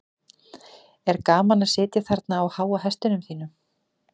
er gaman að sitja þarna á háa hestinum þínum